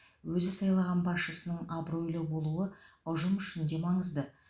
өзі сайлаған басшысының абыройлы болуы ұжым үшін де маңызды